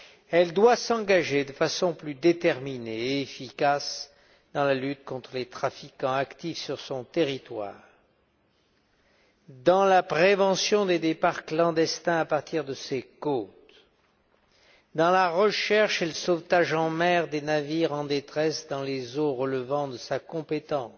Elle doit s'engager de façon plus déterminée et efficace dans la lutte contre les trafiquants actifs sur son territoire, dans la prévention des départs clandestins à partir de ses côtes, dans la recherche et le sauvetage en mer des navires en détresse dans les eaux relevant de sa compétence,